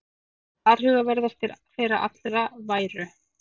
Varhugaverðastir þeirra allra væru